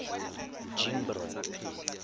jimbro